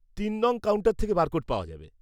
তিন নং. কাউন্টার থেকে বারকোড পাওয়া যাবে।